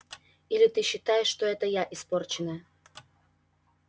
или ты считаешь что это я испорченная